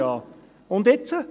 Und jetzt?